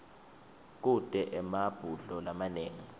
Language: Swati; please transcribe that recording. kute emabhudlo lamanengi